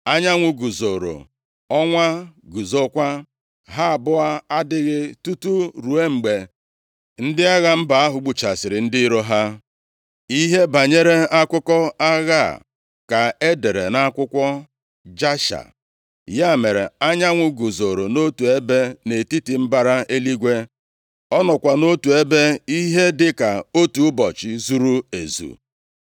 Anyanwụ guzoro, ọnwa guzokwa. Ha abụọ adaghị tutu ruo mgbe ndị agha mba ahụ gbuchasịrị ndị iro ha. Ihe banyere akụkọ agha a ka e dere nʼakwụkwọ Jasha. Ya mere, anyanwụ guzoro nʼotu ebe nʼetiti mbara eluigwe. Ọ nọkwa nʼotu ebe ihe dịka otu ụbọchị zuru ezu.